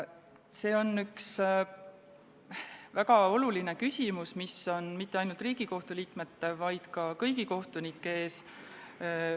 See on väga oluline küsimus, mis ei seisa mitte ainult Riigikohtu liikmete, vaid ka kõigi kohtunike ees.